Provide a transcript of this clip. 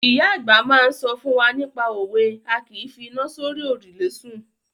Ìyá àgbà máa ń sọ fún wa nípa òwe "A kìí fi iná sórí òrùlé sùn".